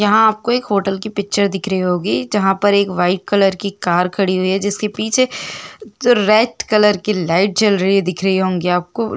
यहाँ आपको एक होटल की पिक्चर दिख रही होगी जहाँ पर एक वाइट कलर की कार खड़ी हुई है जिसके पीछे रेड कलर की लाइट जल रही दिख रही होंगी आपको--